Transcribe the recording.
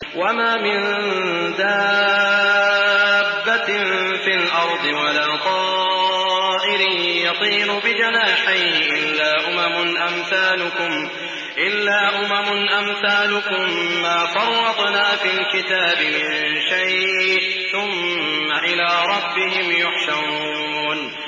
وَمَا مِن دَابَّةٍ فِي الْأَرْضِ وَلَا طَائِرٍ يَطِيرُ بِجَنَاحَيْهِ إِلَّا أُمَمٌ أَمْثَالُكُم ۚ مَّا فَرَّطْنَا فِي الْكِتَابِ مِن شَيْءٍ ۚ ثُمَّ إِلَىٰ رَبِّهِمْ يُحْشَرُونَ